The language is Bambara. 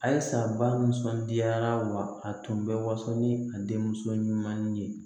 Ayi sa ba nisɔndiyara wa a tun bɛ waso ni a denmuso ɲuman ye